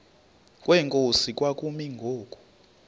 kwenkosi kwakumi ngoku